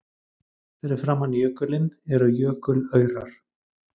Fyrir framan jökulinn eru jökulaurar.